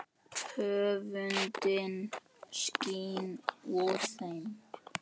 Öfundin skín úr þeim.